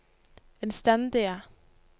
innstendige